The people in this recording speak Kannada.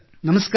ನಮಸ್ಕಾರ